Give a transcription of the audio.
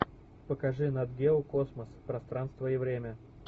покажи нат гео космос пространство и время